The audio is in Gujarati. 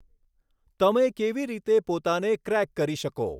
તમે કેવી રીતે પોતાને ક્રેક કરી શકો?